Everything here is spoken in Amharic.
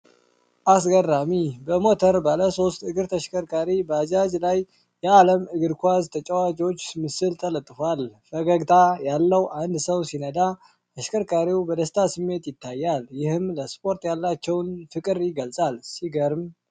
አስገራሚ! በሞተር ባለ ሶስት እግር ተሽከርካሪ (ባጃጅ) ላይ የዓለም እግር ኳስ ተጫዋቾች ምስል ተለጥፏል። ፈገግታ ያለው አንድ ሰው ሲነዳ፣ አሽከርካሪው በደስታ ስሜት ይታያል፤ ይህም ለስፖርት ያላቸውን ፍቅር ይገልጻል። ሲገርም!